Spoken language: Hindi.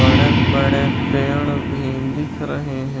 बड़े बड़े पेड़ भी दिख रहे हैं।